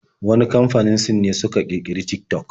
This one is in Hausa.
Wani kamfanin Sin ne suka ƙirƙiri da Tik-tok